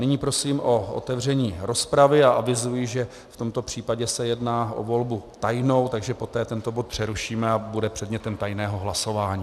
Nyní prosím o otevření rozpravy a avizuji, že v tomto případě se jedná o volbu tajnou, takže poté tento bod přerušíme a bude předmětem tajného hlasování.